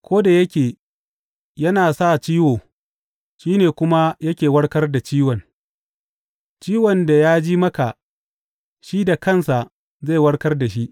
Ko da yake yana sa ciwo, shi ne kuma yake warkar da ciwon; ciwon da ya ji maka, shi da kansa zai warkar da shi.